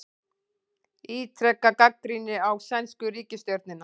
Ítreka gagnrýni á sænsku ríkisstjórnina